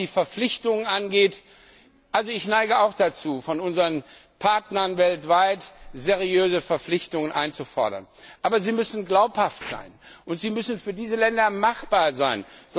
Was die Verpflichtung angeht Ich neige auch dazu, von unseren Partnern weltweit seriöse Verpflichtungen einzufordern. Aber sie müssen glaubhaft sein, und sie müssen für diese Länder machbar sein.